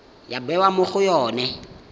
ya bewa mo go yone